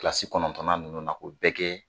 Kilasi kɔnɔntɔnnan ninnu na k'o bɛɛ kɛ